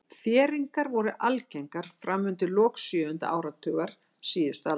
Þéringar voru algengar fram undir lok sjöunda áratugar síðustu aldar.